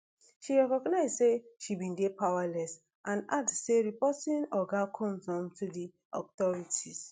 she recognize say she bin dey powerless and add say reporting oga combs um to di authorities